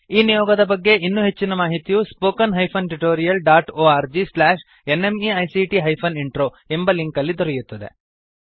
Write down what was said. ಈ ನಿಯೋಗದ ಬಗ್ಗೆ ಇನ್ನೂ ಹೆಚ್ಚಿನ ಮಾಹಿತಿಯು spoken hyphen tutorial dot O R G slash N M E I C T hyphen intro ಎಂಬ ಲಿಂಕ್ ನಲ್ಲಿ ದೊರೆಯುತ್ತದೆ